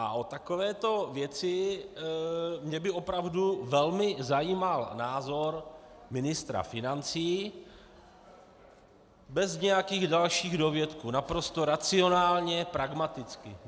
A o takovéto věci mě by opravdu velmi zajímal názor ministra financí bez nějakých dalších dovětků, naprosto racionálně, pragmaticky.